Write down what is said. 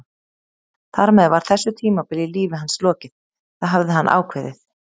Þar með var þessu tímabili í lífi hans lokið, það hafði hann ákveðið.